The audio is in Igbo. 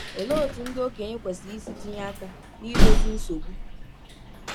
Olee otú ndị okenye kwesịrị isi tinye aka n’idozi nsogbu?